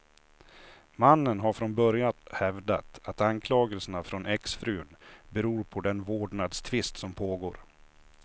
Mannen har från börjat hävdat att anklagelserna från exfrun beror på den vårdnadstvist som pågår.